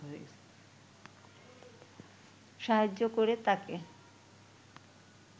সাহায্য করে তাকে